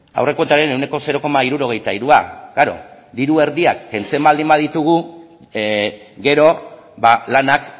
aurrekontuaren ehuneko zero koma hirurogeita hirua klaro diru erdia kentzen baldin baditugu gero lanak